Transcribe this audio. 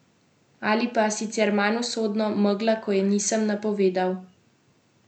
Ali pa, sicer manj usodno, megla, ko je nisem napovedal.